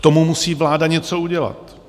K tomu musí vláda něco udělat.